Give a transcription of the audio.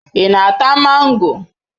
Ị na-ata mango?